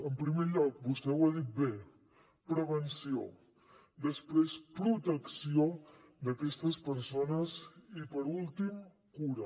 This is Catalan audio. en primer lloc vostè ho ha dit bé prevenció després protecció d’aquestes persones i per últim cura